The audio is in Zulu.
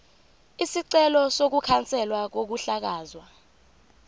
isicelo sokukhanselwa kokuhlakazwa